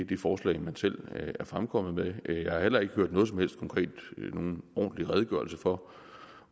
det forslag man selv er fremkommet med jeg har heller ikke hørt noget som helst konkret eller nogen ordentlig redegørelse for